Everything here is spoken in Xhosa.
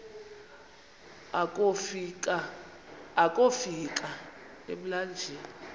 akofi ka emlanjeni